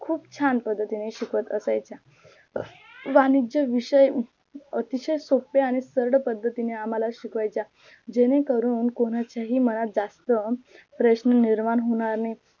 खूप छान पद्धतीने शिकवत असायचे वाणिज्य विषय अतिशय सोपे आणी सरळ पद्धतीने आम्हाल शिकवायच्या जेणे करून कोणाच्याही मनात जास्त प्रश्न निर्माण होणार नाही